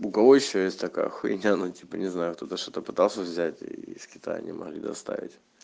у кого ещё есть такая хуйня ну типа не знаю кто-то что-то пытался взять из китая не могут доставить